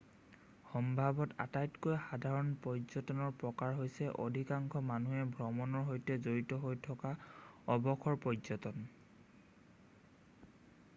সম্ভৱতঃ আটাইতকৈ সাধাৰণ পৰ্য্যটনৰ প্ৰকাৰ হৈছে অধিকাংশ মানুহে ভ্ৰমণৰ সৈতে জড়িত হৈ থকা অৱসৰ পৰ্য্যটন